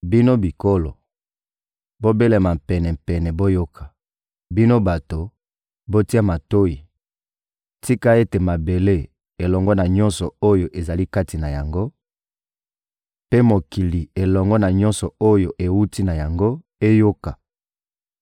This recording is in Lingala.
Bino bikolo, bobelema pene mpe boyoka; bino bato, botia matoyi! Tika ete mabele, elongo na nyonso oyo ezali kati na yango, mpe mokili, elongo na nyonso oyo ewuti na yango, eyoka!